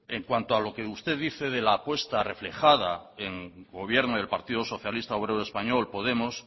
mire en cuanto a lo que usted dice de la apuesta reflejada en gobierno en el partido socialista obrero español y podemos